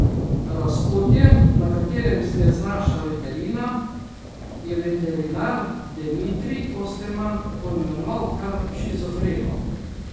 Razpotje, na katerem se je znašla veterina, je veterinar Demitrij Osterman poimenoval kar shizofreno.